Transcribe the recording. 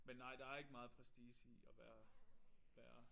Men nej der ikke meget prestige i at være være